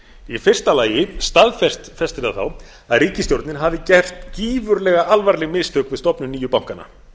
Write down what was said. í fyrsta lagi staðfestir það þá að ríkisstjórnin hafi gert gífurlega alvarleg mistök við stofnun nýju bankanna